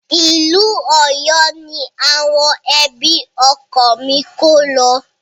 Ìlú Ọ̀yọ́ ní àwọn ẹbí ọkọ mi kó lo.